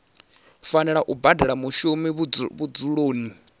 fanela u badela mushumi vhudzuloni